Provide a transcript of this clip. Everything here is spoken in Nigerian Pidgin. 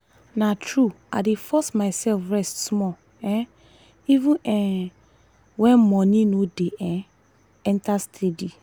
na true i dey force myself rest small um even um when money no dey um enter steady.